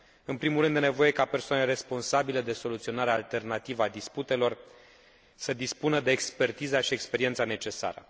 În primul rând, este nevoie ca persoanele responsabile de soluționarea alternativă a disputelor să dispună de expertiza și experiența necesară.